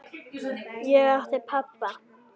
Ég átti pabba.